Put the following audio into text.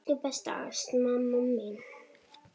Elsku besta Ásta amma mín.